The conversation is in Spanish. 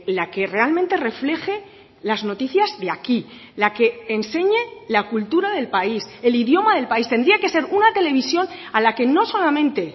la que realmente refleje las noticias de aquí la que enseñe la cultura del país el idioma del país tendría que ser una televisión a la que no solamente